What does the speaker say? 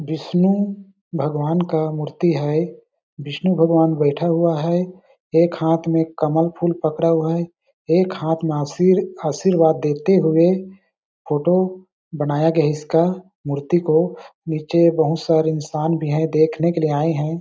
विष्णु भगवान का मूर्ति है विष्णु भगवान बैठा हुआ है एक हाथ में कमल फूल पकड़ा हुआ है एक हाथ में आशीर आशीर्वाद देते हुए फोटो बनाया गया इसका मूर्ति को नीचे बहुत सारे इंसान भी है देखने के लिए आए हैं ।